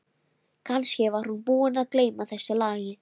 Kannski var hún búin að gleyma þessu lagi.